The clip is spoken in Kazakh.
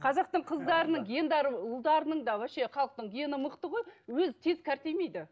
қазақтың қыздарының гендері ұлдарының да вообще халықтың гені мықты ғой өзі тек қартаймайды